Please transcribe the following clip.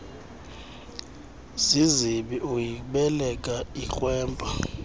zizibi uyibeleka ikrwempa